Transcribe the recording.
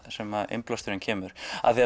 sem innblásturinn kemur af því